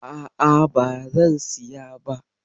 A'a bazan siya ba.